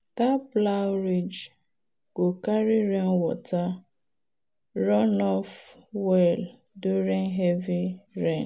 that plow ridge go carry rainwater run-off well during heavy rain.